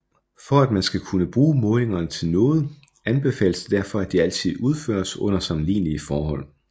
For at man skal kunne bruge målingerne til noget anbefales det derfor at de altid udføres under sammenlignlige forhold